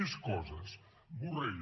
més coses borrell